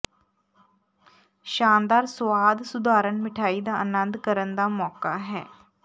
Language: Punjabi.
ਸ਼ਾਨਦਾਰ ਸੁਆਦ ਸੁਧਾਰਨ ਮਿਠਆਈ ਦਾ ਆਨੰਦ ਕਰਨ ਦਾ ਮੌਕਾ ਹੈ